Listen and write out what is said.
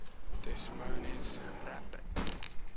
des moines rapids